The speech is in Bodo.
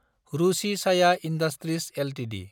Ruchi Soya industries Ltd